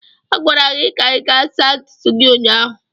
A gwara gị ka ị gaa saa ntutu gị ụnyaahụ.